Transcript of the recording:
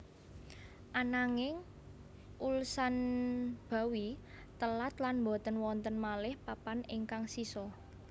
Ananging Ulsanbawi telat lan boten wonten malih papan ingkang sisa